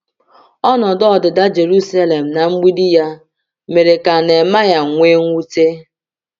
Ọnọdụ ọdịda Jerusalem na mgbidi ya mere ka Neemaya nwee mwute.